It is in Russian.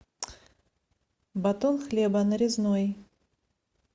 батон хлеба нарезной